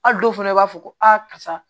Ali dɔw fɛnɛ b'a fɔ ko aa karisa